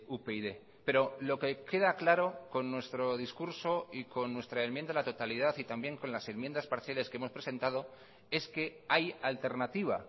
upyd pero lo que queda claro con nuestro discurso y con nuestra enmienda a la totalidad y también con las enmiendas parciales que hemos presentado es que hay alternativa